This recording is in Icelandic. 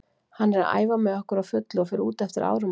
Hann er að æfa með okkur á fullu og fer út eftir áramótin.